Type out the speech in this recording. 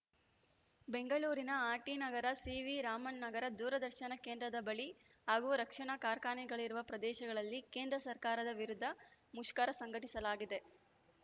ಬೆಂಗಳೂರಿನ ಆರ್‌ಟಿನಗರ ಸಿವಿರಾಮನ್‌ ನಗರ ದೂರದರ್ಶನ ಕೇಂದ್ರದ ಬಳಿ ಹಾಗೂ ರಕ್ಷಣಾ ಕಾರ್ಖಾನೆಗಳಿರುವ ಪ್ರದೇಶಗಳಲ್ಲಿ ಕೇಂದ್ರ ಸರ್ಕಾರದ ವಿರುದ್ಧ ಮುಷ್ಕರ ಸಂಘಟಿಸಲಾಗಿದೆ